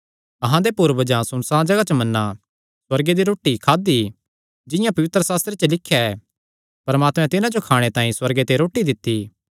अहां दे पूर्वजां सुनसाण जगाह च मन्ना सुअर्गे दी रोटी खादा जिंआं पवित्रशास्त्रे च लिख्या ऐ परमात्मे तिन्हां जो खाणे तांई सुअर्गे ते रोटी दित्ती